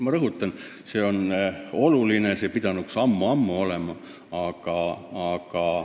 Ma rõhutan: see on oluline, selle sammu pidanuks ammu-ammu astuma.